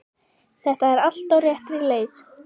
Þetta er allt á réttri leið.